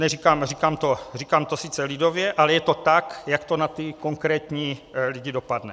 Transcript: Říkám to sice lidově, ale je to tak, jak to na ty konkrétní lidi dopadne.